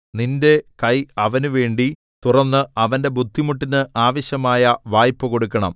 നിന്റെ കൈ അവനുവേണ്ടി തുറന്ന് അവന്റെ ബുദ്ധിമുട്ടിന് ആവശ്യമായ വായ്പ കൊടുക്കണം